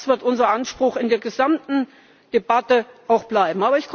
Das wird unser Anspruch in der gesamten Debatte auch bleiben.